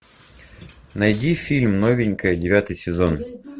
найди фильм новенькая девятый сезон